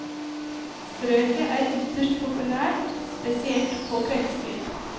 Strøket er ytterst populært, spesielt på kveldstid.